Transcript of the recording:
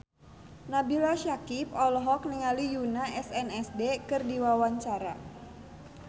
Nabila Syakieb olohok ningali Yoona SNSD keur diwawancara